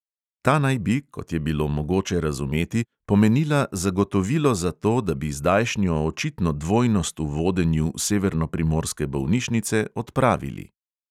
Ta naj bi, kot je bilo mogoče razumeti, pomenila zagotovilo za to, da bi zdajšnjo očitno dvojnost v vodenju severnoprimorske bolnišnice odpravili.